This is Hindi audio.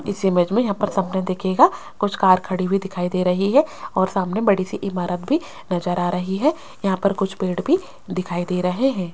इस इमेज में यहां पर सामने देखिएगा कुछ कार खड़ी भी दिखाई दे रही है और सामने बड़ी से इमारत भी नजर आ रही है यहां पर कुछ पेड़ भी दिखाई दे रहे हैं।